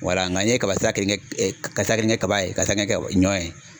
Wala nka nin ye kaba sira kelen kɛ ka sira kelen kɛ kaba ye ka sira kelen kɛ ɲɔ ye.